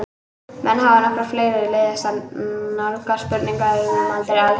Menn hafa nokkrar fleiri leiðir til að nálgast spurninguna um aldur alheimsins.